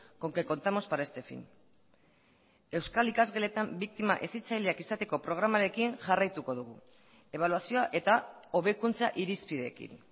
con que contamos para este fin euskal ikasgeletan biktima hezitzaileak izateko programarekin jarraituko dugu ebaluazioa eta hobekuntza irizpideekin